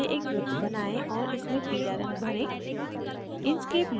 text के नीचे एक वृत्त बनाएं और इसमें पीला रंग भरें